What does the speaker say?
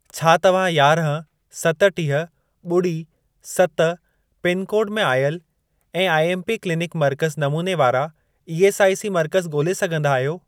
छा तव्हां यारहं, सतटीह, ॿुड़ी, सत पिनकोड में आयल ऐं आईएमपी क्लिनिक मर्कज़ नमूने वारा ईएसआईसी मर्कज़ ॻोल्हे सघंदा आहियो?